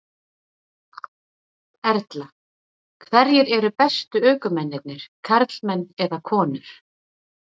Erla: Hverjir eru bestu ökumennirnir, karlmenn eða konur?